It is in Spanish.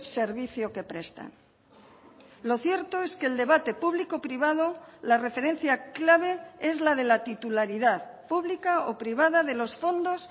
servicio que prestan lo cierto es que el debate público privado la referencia clave es la de la titularidad pública o privada de los fondos